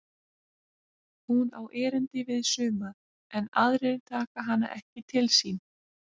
Hún á erindi við suma en aðrir taka hana ekki til sín.